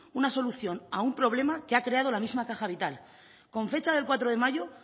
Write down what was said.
una solución a un problema que ha creado la misma caja vital con fecha de cuatro de mayo